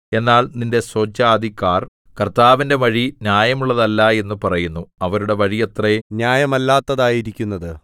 എന്നാൽ നിന്റെ സ്വജാതിക്കാർ കർത്താവിന്റെ വഴി ന്യായമുള്ളതല്ല എന്ന് പറയുന്നു അവരുടെ വഴിയത്രേ ന്യായമല്ലാത്തതായിരിക്കുന്നത്